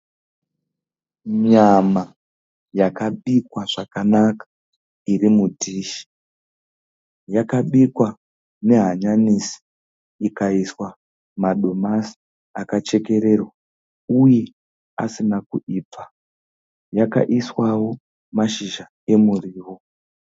Nyama yakabikwa zvakanaka iri mudhishi. Yakabikwa nehanyanisi, ikaiswa madomasi akachekererwa uye asina kuibva. Yakaiswawo masizha emuriwo.